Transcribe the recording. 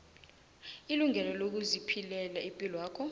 ilungelo lokuziphilela ipilwakho